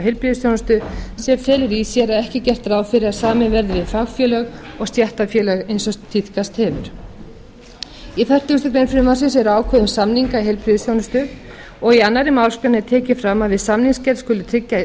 heilbrigðisþjónustu sem felur í sér að ekki er gert ráð fyrir að samið verði við fagfélög og stéttarfélög eins og tíðkast hefur í fertugustu greinar frumvarpsins eru ákvæði um samninga í heilbrigðisþjónustu og í tvær málsgreinar er tekið fram að við samningsgerð skuli tryggja jafnræði